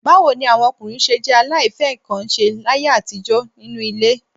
Báwo ni àwọn ọkùnrin ṣé jẹ́ aláìfẹ́-nǹkan-ṣe láyé àtijọ́ nínú ilé?